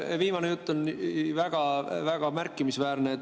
See viimane jutt on väga-väga märkimisväärne.